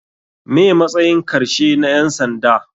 Me matsayin karshe na ƴan sanda.